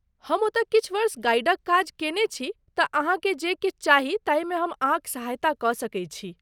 हम ओतय किछु वर्ष गाइडक काज कयने छी तँ अहाँके जे किछु चाही ताहिमे हम अहाँक सहायता कऽ सकैत छी।